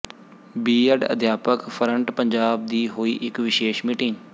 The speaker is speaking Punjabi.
ਬੀ ਐਡ ਅਧਿਆਪਕ ਫਰੰਟ ਪੰਜਾਬ ਦੀ ਹੋਈ ਇਕ ਵਿਸ਼ੇਸ਼ ਮੀਟਿੰਗ